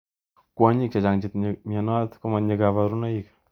Kwonyik chechang chetinye mnynot komatinye kaburunoik.